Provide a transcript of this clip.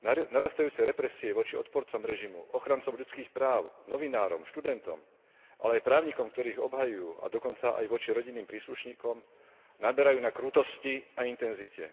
Narastajúce represie voči odporcom režimu, ochrancom ľudských práv, novinárom, študentom, ale aj právnikom, ktorí ich obhajujú, a dokonca aj voči rodinným príslušníkom naberajú na krutosti a intenzite.